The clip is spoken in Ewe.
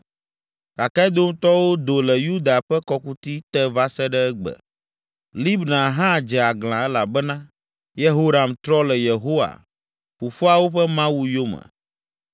Gake Edomtɔwo do le Yuda ƒe kɔkuti te va se ɖe egbe. Libna hã dze aglã elabena Yehoram trɔ le Yehowa, fofoawo ƒe Mawu yome.